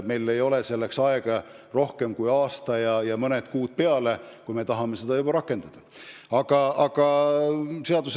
Meil ei ole selleks aega rohkem kui aasta ja mõned kuud peale, kui tahame seda märgitud ajal rakendada.